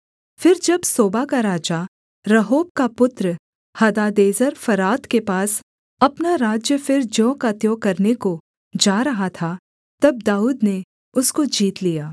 फिर जब सोबा का राजा रहोब का पुत्र हदादेजेर फरात के पास अपना राज्य फिर ज्यों का त्यों करने को जा रहा था तब दाऊद ने उसको जीत लिया